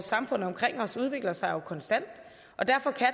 samfundet omkring os udvikler sig konstant og derfor kan